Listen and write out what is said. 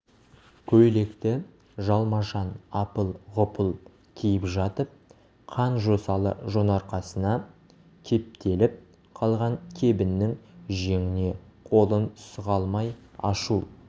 көйлекті жалмажан апыл-ғұпыл киіп жатып қан жосалы жонарқасына кептеліп қалған кебіннің жеңіне қолын сұға алмай ашу